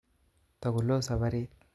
Tokoloo safarit